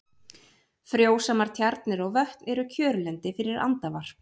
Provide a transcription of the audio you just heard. Frjósamar tjarnir og vötn eru kjörlendi fyrir andavarp.